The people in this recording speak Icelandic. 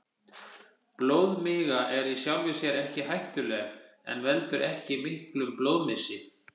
Blóðmiga er í sjálfu sér ekki hættuleg og veldur ekki miklum blóðmissi.